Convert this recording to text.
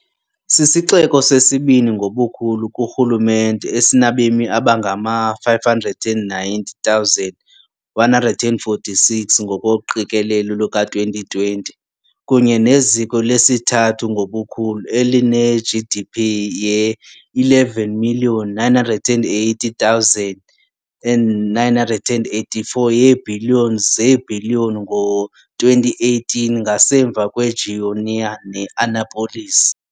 Sisixeko sesibini ngobukhulu kurhulumente, esinabemi abangama-590,146, ngokoqikelelo luka-2020, kunye neziko lesithathu ngobukhulu, eline-GDP ye-11.980.984 yeebhiliyoni zeebhiliyoni ngo-2018, ngasemva kweGoiânia ne-Anápolis.